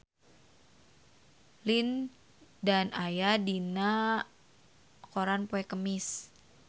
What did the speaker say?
Lin Dan aya dina koran poe Kemis